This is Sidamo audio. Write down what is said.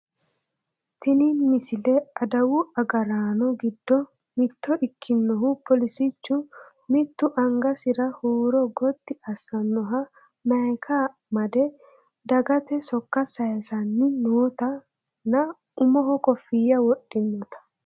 tini misile adawu agaraano giddo mitto ikkinohu poolisichu mittu angasira huuro gottti assannoha mayiika made dagate sokka sayiisanni nootanna umoho kooffiya wodhinota